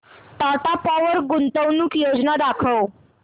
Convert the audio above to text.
Tata power गुंतवणूक योजना दाखव